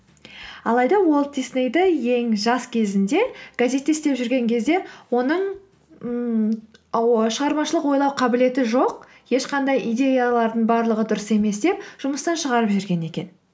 алайда уолт диснейді ең жас кезінде газетте істеп жүрген кезде оның ммм шығармашылық ойлау қабілеті жоқ ешқандай идеяларының барлығы дұрыс емес деп жұмыстан шығарып жіберген екен